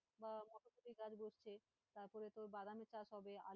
বা মটরশুঁটি গাছ বসছে, তারপরে তোর বাদামের চাষ হবে।